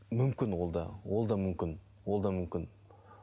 мүмкін ол да ол да мүмкін ол да мүмкін